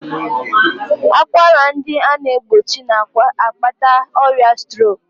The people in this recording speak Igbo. Akwara ndị a na-egbochi na-akpata ọrịa strok